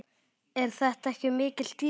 Eru þetta ekki mikil tíðindi?